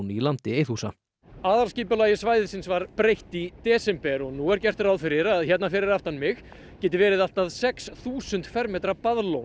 í landi Eiðhúsa aðalskipulagi svæðisins var breytt í desember og nú er gert ráð fyrir að hérna fyrir aftan mig geti verið allt að sex þúsund fermetra